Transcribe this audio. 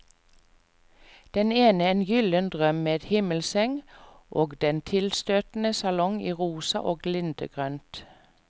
Den ene en gylden drøm med himmelseng og en tilstøtende salong i rosa og lindegrønt.